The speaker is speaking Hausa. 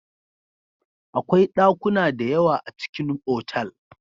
Akwai ɗakuna da yawa a cikin otal.